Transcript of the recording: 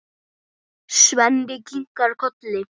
Svenni kinkar kolli.